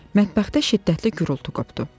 Mətbəxdə şiddətli güruultu qopdu.